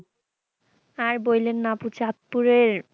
আর বইলেন না আপু চাঁদপুরের,